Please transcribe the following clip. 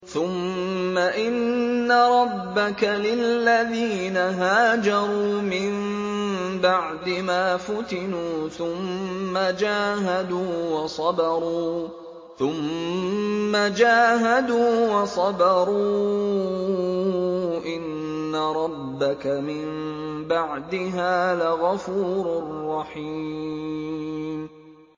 ثُمَّ إِنَّ رَبَّكَ لِلَّذِينَ هَاجَرُوا مِن بَعْدِ مَا فُتِنُوا ثُمَّ جَاهَدُوا وَصَبَرُوا إِنَّ رَبَّكَ مِن بَعْدِهَا لَغَفُورٌ رَّحِيمٌ